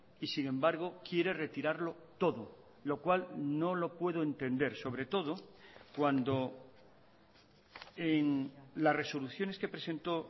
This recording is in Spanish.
y sin embargo quiere retirarlo todo lo cual no lo puedo entender sobretodo cuando en las resoluciones que presentó